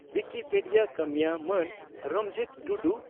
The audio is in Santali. ᱣᱩᱠᱤᱯᱮᱰᱤᱭᱟ ᱠᱟᱹᱢᱤᱭᱟᱹ ᱢᱟᱱ ᱨᱟᱢᱡᱤᱛ ᱴᱩᱰᱩ